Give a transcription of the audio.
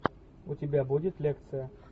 у тебя будет лекция